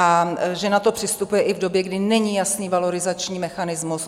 A že na to přistupuje i v době, kdy není jasný valorizační mechanismus.